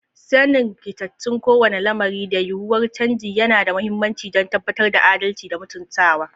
Sanin rikitattun kowane lamari da yiwuwar canji yana da mahimmanci don tabbatar da adalci da mutuntaka.